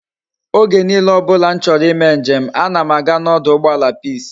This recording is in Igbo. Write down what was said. Oge niile obula m choro i me njem a na m aga na oduugboala peace